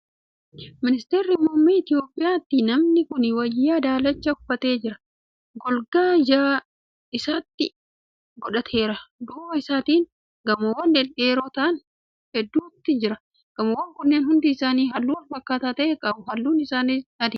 Ministeera muummee itiyoopiyaati. namni kuni wayaa daalacha uffatee jira. golgaa ijaa ijatti godhateera. duuba isaatti gamoowwan dhedheeroo ta'an hedduuti jira. gamoowwaan kunniin hundi isaanii halluu walfakkaataa ta'e qabu halluun isaaniis adiidha. gamoowwan hundi isaanii foddaa qabu.